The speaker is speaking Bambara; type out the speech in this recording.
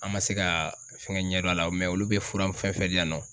An ma se ga fɛngɛ ɲɛdɔn a la o mɛ olu bɛ fura fɛn fɛn di yan nɔ